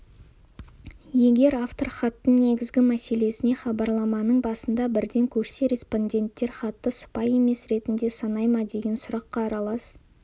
егер автор хаттың негізгі мәселесіне хабарламаның басында бірден көшсе респонденттер хатты сыпайы емес ретінде санай ма деген сұраққа аралас